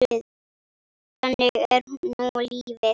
Þannig er nú lífið.